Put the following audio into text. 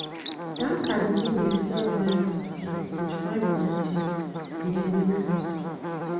Dat canteen dey sell rice and stew wit ripe plantain, e dey make sense.